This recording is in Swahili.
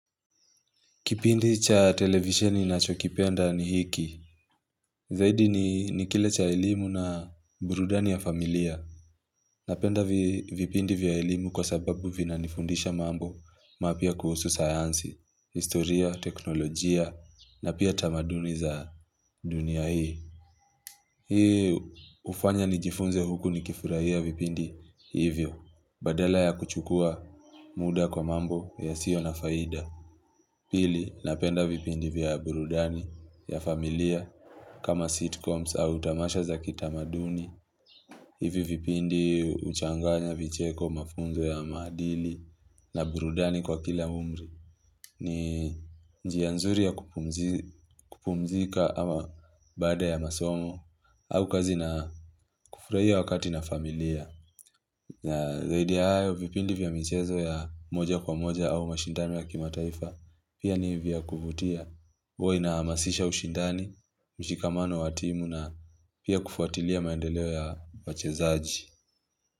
Kipindi cha televisioni nachokipenda ni hiki. Zaidi ni kile cha elimu na burudani ya familia. Napenda vipindi vya elimu kwa sababu vina nifundisha mambo mapta kuhusu sayansi, historia, teknolojia na pia tamaduni za dunia hii. Hii hufanya nijifunze huku nikifurahia vipindi hivyo. Badala ya kuchukua muda kwa mambo yasio na faida. Pili, napenda vipindi vya burudani ya familia kama sitcoms au utamasha za kitamaduni. Hivi vipindi huchanganya vicheko mafunzo ya maadili na burudani kwa kila umri. Ni njia nzuri ya kump kupumzika ama baada ya masomo au kazi na kufurahia wakati na familia. Na zaidi ya hayo vipindi vya michezo ya moja kwa moja au mashindano ya kimataifa pia ni vya kuvutia. Uwe unahamasisha ushindani, mshikamano wa timu na pia kufuatilia maendeleo ya wachezaji.